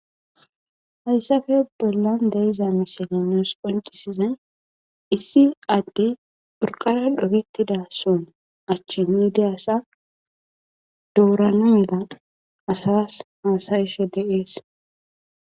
hayssafe bollan deiza misilinoos qoncisizay issi adde phurqara dhokettida son achchi miide asa dourana meda asas hasayishe deees